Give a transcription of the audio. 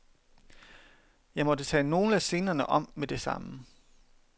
Jeg måtte tage nogle af scenerne om med det samme.